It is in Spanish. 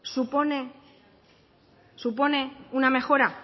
supone una mejora